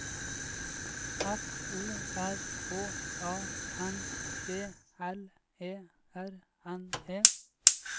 F O R H A N D L E R N E